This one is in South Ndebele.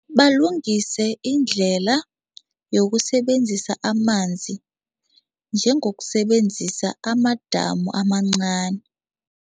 Balungise indlela yokusebenzisa amanzi njengokusebenzisa amadamu amancani.